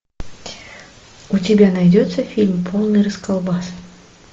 у тебя найдется фильм полный расколбас